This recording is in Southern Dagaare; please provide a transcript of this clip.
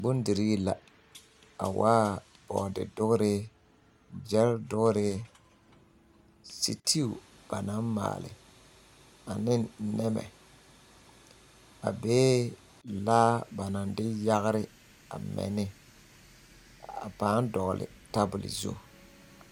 Bondirii la a waa bɔɔde dogrii gyɛl dogrii setew ba naŋ maali aneŋ nɛmɛ a bee laa ba naŋ de yagre a mɛ ne a paaŋ dɔgli tabol zu.